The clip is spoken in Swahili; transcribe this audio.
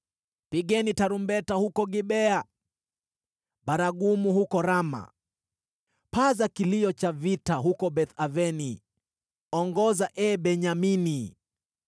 “Pigeni tarumbeta huko Gibea, baragumu huko Rama. Paza kilio cha vita huko Beth-Aveni, ongoza, ee Benyamini.